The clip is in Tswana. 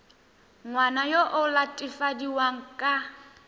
ngwana yo o latofadiwang ka